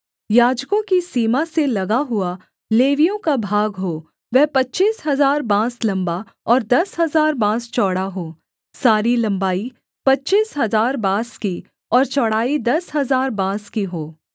याजकों की सीमा से लगा हुआ लेवियों का भाग हो वह पच्चीस हजार बाँस लम्बा और दस हजार बाँस चौड़ा हो सारी लम्बाई पच्चीस हजार बाँस की और चौड़ाई दस हजार बाँस की हो